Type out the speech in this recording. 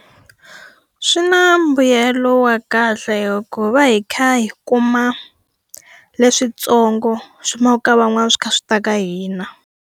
Swi na mbuyelo wa kahle hikuva hi va kha hi kuma leswintsongo swi humaka ka van'wana swi kha swi ta ka hina.